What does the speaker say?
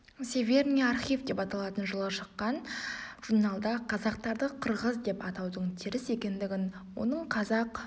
северный архив деп аталатын жылы шыққан журналда қазақтарды қырғыз деп атаудың теріс екендігін оның қазақ